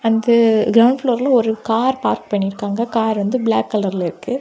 இது கிரௌண்ட் ஃப்ளோர்ல ஒரு கார் பார்க் பண்ணிற்காங்க கார் வந்து பிளாக் கலர்ல இருக்கு.